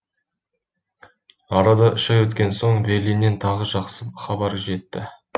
арада үш ай өткен соң берлиннен тағы жақсы хабар жетті